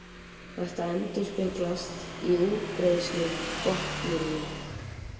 Þetta endurspeglast í útbreiðslu botndýranna.